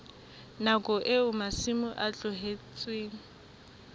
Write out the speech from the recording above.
nakong eo masimo a tlohetsweng